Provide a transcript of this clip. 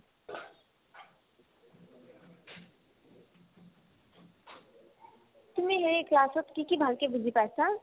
তুমি হেৰি class ত কি কি ভালকে বুজি পাইছা ?